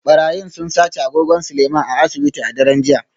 Barayin sun sace agogon Seleiman a asibiti a daren jiya